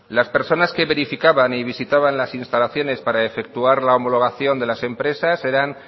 las personas que verificaban y visitaban las instalaciones para efectuar la homologación de las empresas eran